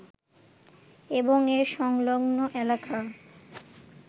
এবং এর সংলগ্ন এলাকা